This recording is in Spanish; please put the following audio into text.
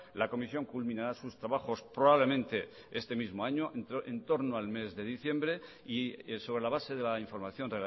la comisión culminará sus trabajos probablemente este mismo año en torno al mes de diciembre y sobre la base de la información